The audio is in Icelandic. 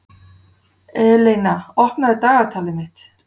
Eleina, opnaðu dagatalið mitt.